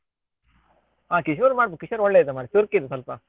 ಆ ಕಿಶೋರ್ ಮಾಡ್ಬೇಕು ಕಿಶೋರ್ ಒಳ್ಳೆ ಇದ್ದ ಮಾರ್ರೆ ಚುರ್ಕ್ ಇದ್ದ ಸ್ವಲ್ಪ.